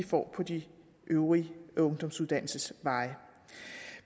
får på de øvrige ungdomsuddannelsesveje